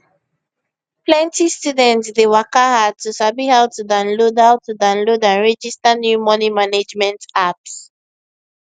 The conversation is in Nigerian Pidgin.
plenty students dey waka hard to sabi how to download how to download and register new money management apps